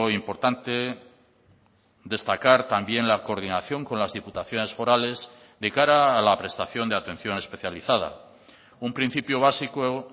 importante destacar también la coordinación con las diputaciones forales de cara a la prestación de atención especializada un principio básico